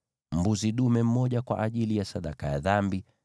mbuzi dume mmoja kwa ajili ya sadaka ya dhambi;